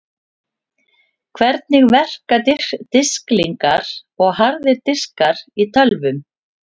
Hvernig verka disklingar og harðir diskar í tölvum?